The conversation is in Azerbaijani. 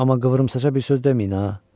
Amma qıvrımsaça bir söz deməyin ha.